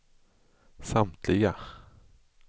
samtliga